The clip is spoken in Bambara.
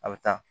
A bɛ taa